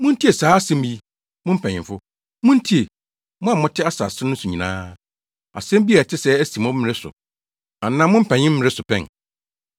Muntie saa asɛm yi, mo mpanyimfo; muntie, mo a mote asase no so nyinaa. Asɛm bi a ɛte sɛɛ asi mo mmere so anaa mo mpanyimfo mmere so pɛn?